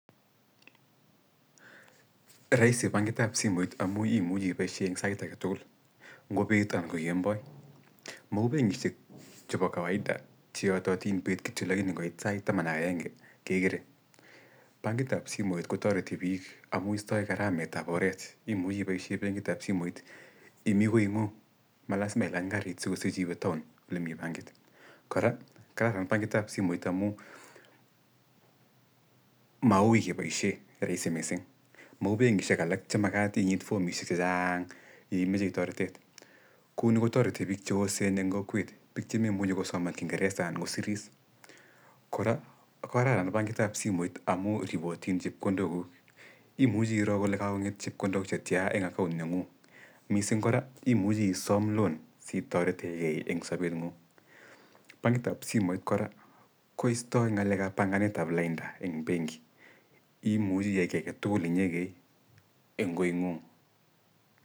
Raisi bankitab simoit amuu imuchi iboishe saait agetugul ngo bet anan ko kemboi. Mauu benkishek chebo kawaida che yatatin bet kityo lakini ngoit saait taman ak agenge kegerei. Bankitab simoit kotareti biik amuu istai karametab oret imuji iboishe benkitab simet imii koing'ung'. Malazima ilany karit sikisich iwee town olemii bankit. Kora kararan bankitab simooit amuu mauui keboishe rahisi missing mauu benkishek alak che makat inyit formishek chechaang' ye imejei taretet. Kouni ko tareti biik che osen eng kokwet che memuji kosoman kinjgeresa anan kosiris. Kora ko kararan bankitab simoit amuu ribotin chepkondokug imuji iroo kole kagong'et chepkondok che tiaa eng account neng'ung'. Missing kora imuji isoom loan si taretegei eng sobet ng'ung'. Bankitab simoit kora koistoi ng'alekab banganetab lainda eng benki, imuchi iyai kiy agetugul inyegei eng koing'ung'.